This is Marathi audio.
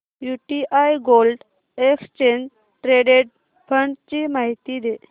UTI gold exchange traded fund ची माहिती दे